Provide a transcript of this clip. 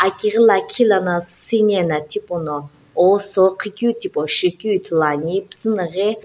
akighi la khilano siinae no thi pu no osho ghi keu thipo shi keu ithulu ane pizinaghi.